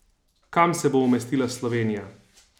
Kam se bo umestila Slovenija?